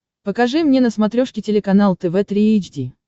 покажи мне на смотрешке телеканал тв три эйч ди